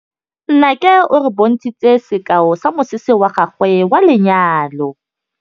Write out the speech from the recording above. Nnake o re bontshitse sekaô sa mosese wa gagwe wa lenyalo.